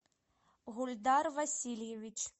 гульдар васильевич